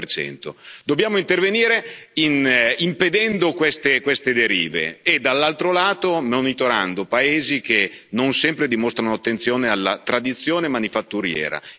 33 Dobbiamo intervenire impedendo queste derive e, dall'altro lato, monitorando paesi che non sempre dimostrano attenzione alla tradizione manifatturiera.